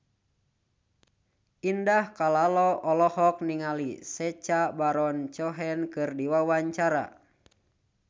Indah Kalalo olohok ningali Sacha Baron Cohen keur diwawancara